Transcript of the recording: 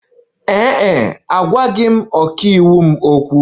Ee e, agwaghị m ọkàiwu m okwu.